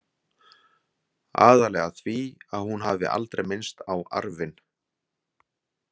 Aðallega því að hún hafi aldrei minnst á arfinn.